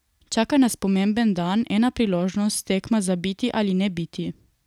Čaka nas pomemben dan, ena priložnost, tekma za biti ali ne biti.